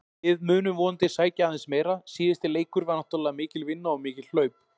Við munum vonandi sækja aðeins meira, síðasti leikur var náttúrulega mikil vinna og mikil hlaup.